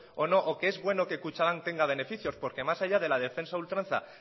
o no o que es bueno que kutxabank tenga beneficios porque más allá de la defensa a ultranza